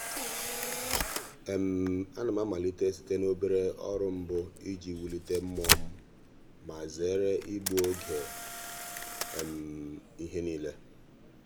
a na m amalite site n'obere ọrụ mbụ iji wulite mmụọ m ma zere igbu oge ihe niile. ihe niile.